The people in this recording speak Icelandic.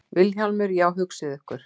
VILHJÁLMUR: Já, hugsið ykkur.